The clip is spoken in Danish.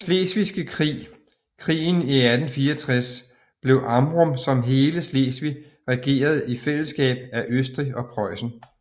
Slesvigske Krig krigen i 1864 blev Amrum som hele Slesvig regeret i fællesskab af Østrig og Preussen